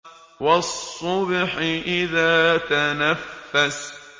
وَالصُّبْحِ إِذَا تَنَفَّسَ